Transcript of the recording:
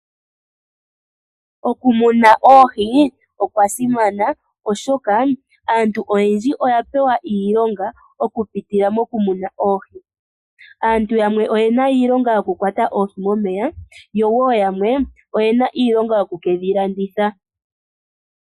Okumuna oohi okwa simana, oshoka aantu oyendji oya pewa iilonga okupitila mokumuna oohi. Aantu yamwe oyena iilonga yokukwata oohi momeya, noshowo yamwe oyena iilonga yokuka landitha oohi.